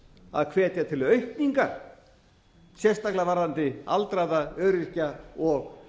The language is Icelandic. að hvetja til aukning sérstaklega varðandi aldraða öryrkja og